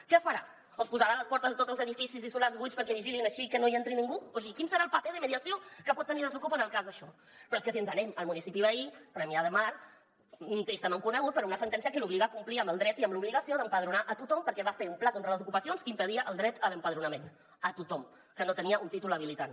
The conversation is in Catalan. què farà els posarà a les portes de tots els edificis i solars buits perquè vigilin així que no hi entri ningú o sigui quin serà el paper de mediació que pot tenir desokupa en el cas d’això però és que si ens n’anem al municipi veí premià de mar tristament conegut per una sentència que l’obliga a complir amb el dret i amb l’obligació d’empadronar a tothom perquè va fer un pla contra les ocupacions que impedia el dret a l’empadronament a tothom que no tenia un títol habilitant